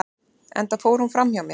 enda fór hún fram hjá mér